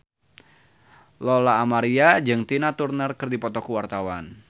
Lola Amaria jeung Tina Turner keur dipoto ku wartawan